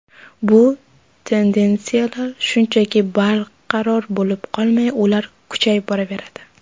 Bu tendensiyalar shunchaki barqaror bo‘lib qolmay, ular kuchayib boraveradi.